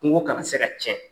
Kungo kana se ka tiɲɛ.